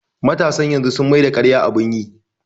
Matasan yanzu sun maida ƙarya abun yi